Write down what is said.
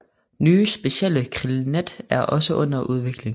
Nye specielle krillnet er også under udvikling